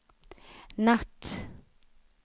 natt